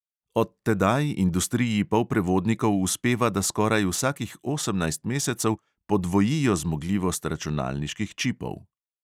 Od tedaj industriji polprevodnikov uspeva, da skoraj vsakih osemnajst mesecev podvojijo zmogljivost računalniških čipov.